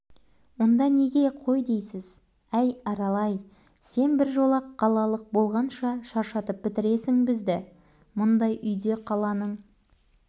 онда неге қой дейсіз әй арал-ай сен біржола қалалық болғанша шаршатып бітіресің бізді мұндай үйде қаланың